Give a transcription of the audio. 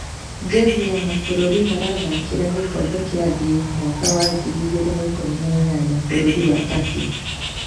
Jezi ya mabũrũri marathakĩra gĩkombe kĩa thĩ mwaka wa ngiri igĩrĩ na ikumi na inyanya bũrũri wa Turkey